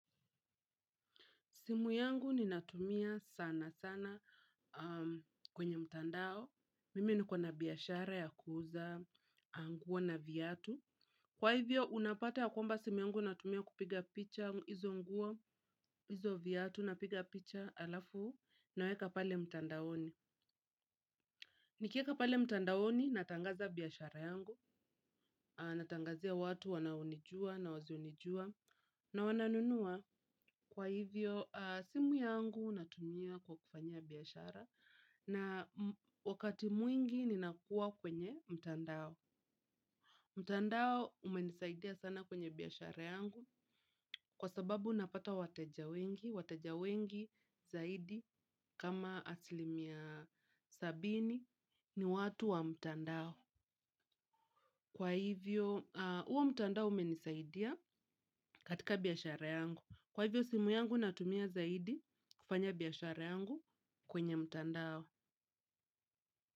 Simu yangu ni natumia sana sana kwenye mtandao, mimi ni kona biashara ya kuuza, nguona viatu. Kwa hivyo, unapata ya kwamba simu yangu natumia kupiga picha, hizo nguo, hizo viatu, napiga picha alafu, naweka pale mtandaoni. Nikiweka pale mtandaoni, natangaza biashara yangu, natangazia watu wanaonijua na wasionijua, na wananunua kwa hivyo simu yangu natumia kwa kufanyia biashara na wakati mwingi ninakua kwenye mtandao. Mtandao umenisaidia sana kwenye biashara yangu kwa sababu napata wateja wengi, wateja wengi zaidi kama asilimia sabini ni watu wa mtandao. Kwa hivyo huo mtandao umenisaidia katika biashara yangu. Kwa hivyo simu yangu natumia zaidi kufanya biashara yangu kwenye mtandao.